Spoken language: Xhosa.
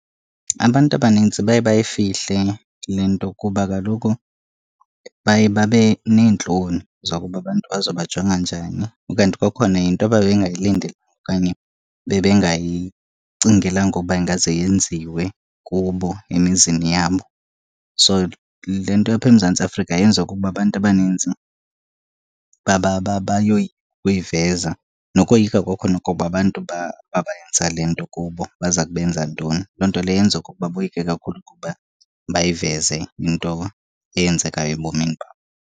Abantu abanintsi baye bayifihle le nto kuba kaloku baye babe neentloni zokuba abantu bazobajonga njani. Ukanti kwakhona yinto ababengayilindelanga okanye bebengayicingelanga uba ingaze yenziwe kubo emizini yabo. So, le nto apha eMzantsi Afrika yenziwa kukuba abantu abaninzi bayoyika ukuyiveza, nokoyika kwakhona okokuba abantu abayenza le nto kubo baza kubenza ntoni. Loo nto leyo yenza ukuba boyike kakhulu ukuba bayiveze into eyenzekayo ebomini babo.